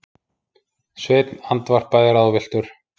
Sveinn andvarpaði ráðvilltur.